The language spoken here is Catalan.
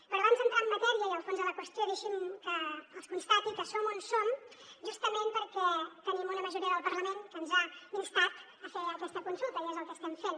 però abans d’entrar en matèria i al fons de la qüestió deixi’m que els constati que som on som justament perquè tenim una majoria del parlament que ens ha instat a fer aquesta consulta i és el que estem fent